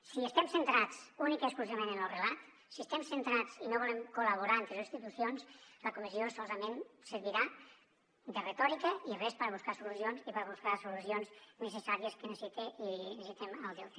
si estem centrats únicament i exclusivament en lo relat si estem centrats i no volem col·laborar entre les institucions la comissió solament servirà de retòrica i res per buscar solucions ni per buscar solucions necessàries que necessita i necessitem al delta